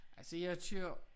Altså jeg kører